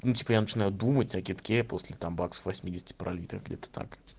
ну типо я начинаю думать о кидке после так баксов восьмидесяти пролитых где-то так